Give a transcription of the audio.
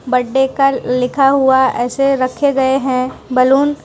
Birthday का लिखा हुआ ऐसे रखे गए हैं बैलून ।